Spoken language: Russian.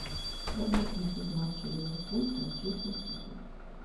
прямой эфир матча ливерпуль с манчестер сити